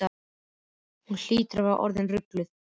Hún hlýtur að vera orðin rugluð.